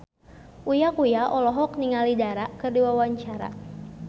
Uya Kuya olohok ningali Dara keur diwawancara